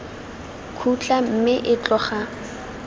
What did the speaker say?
khutla mme o tloga a